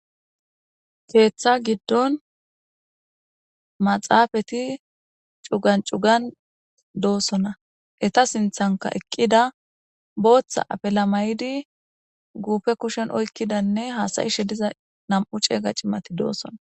Keththa giddon maxxappeti c'ugan c'ugan de'osona Etta sinthanka ekida boththa afila mayidi guffe kushen oykidanne hasayishe diza nam'u c'ega c'imati asati de'osona.